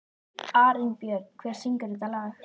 Arinbjörn, hver syngur þetta lag?